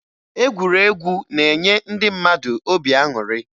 Egwuregwu na-enye ndị mmadụ obi aṅụrị